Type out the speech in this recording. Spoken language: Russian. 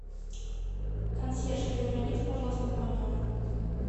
консьерж перезвоните пожалуйста в мой номер